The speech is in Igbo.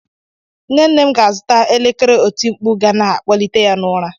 Nne nne m ga-azụta elekere otimkpu ga na-akpọlite ya n'ụra.